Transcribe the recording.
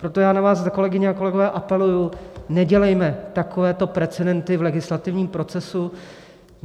Proto já na vás, kolegyně a kolegové, apeluji, nedělejme takovéto precedenty v legislativním procesu.